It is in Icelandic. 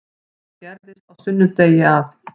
Það gerðist á sunnudegi að